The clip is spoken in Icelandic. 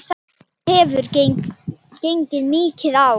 Það hefur gengið mikið á!